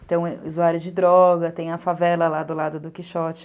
Então, usuário de droga, tem a favela lá do lado do Quixote.